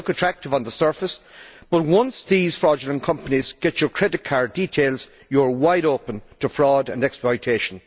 They look attractive on the surface but, once these fraudulent companies get your credit card details, you are wide open to fraud and exploitation.